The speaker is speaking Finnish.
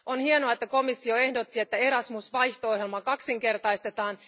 On hienoa, että komissio ehdotti, että Erasmus vaihto ohjelma kaksinkertaistetaan.